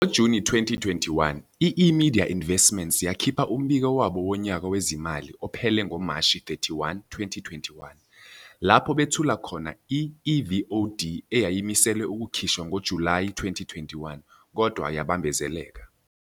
NgoJuni 2021, i-eMedia Investments yakhipha umbiko wabo wonyaka wezimali ophele ngoMashi 31, 2021 lapho bethula khona i-eVOD eyayimiselwe ukukhishwa ngoJulayi 2021 kodwa yabambezeleka.